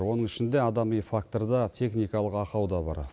оның ішінде адами фактор да техникалық ақау да бар